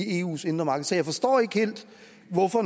eus indre marked så jeg forstår ikke helt